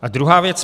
A druhá věc.